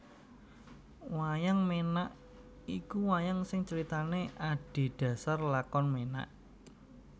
Wayang Ménak iku wayang sing caritané adhedhasar lakon ménak